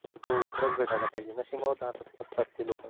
हो खरंच भेटायला पाहिजे. नशिबाला असतात ती लोकं.